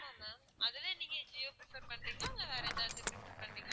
ஆமா ma'am அதுலேயும் நீங்க ஜியோ prefer பண்றீங்களா இல்ல வேற ஏதாவது prefer பண்றீங்களா?